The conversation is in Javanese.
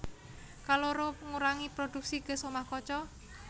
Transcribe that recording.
Kaloro ngurangi prodhuksi gas omah kaca